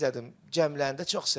Cəmlənəndə çox sevirəm.